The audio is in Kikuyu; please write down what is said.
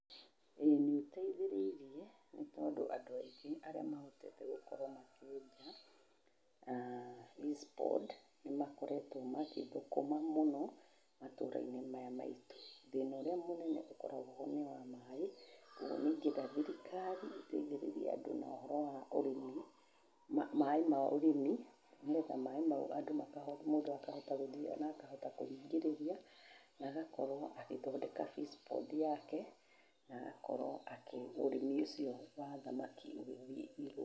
Ĩ nĩĩteithĩrĩrie nĩ tondũ andũ aingĩ arĩa mahotete gũkorwo makĩũrĩma aah fish pond nĩmakoretwo magĩthũkũma mũno matura-inĩ maya maitũ. Thĩna ũrĩa mũnene ũkoragwo ho nĩ wa maaĩ, ũguo nĩingĩenda thirikari ĩteithĩrĩrie andũ na ũhoro wa ũrĩmi, maaĩ ma ũrĩmi nĩgetha maaĩ macio mũndũ akohota gũthiĩ na akakũhingĩrĩria na agakorwo agĩthondeka fish pond yake na agakorwo ũrĩmi ũcio wa thamaki ũgĩthiĩ igũrũ